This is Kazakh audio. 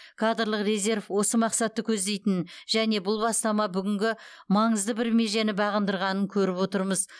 кадрлық резерв осы мақсатты көздейтінін және бұл бастама бүгінгі маңызды бір межені бағындырғанын көріп отырмыз